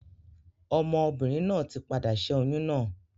Ọmọ obìnrin náà ti padà ṣẹ́ oyún náà.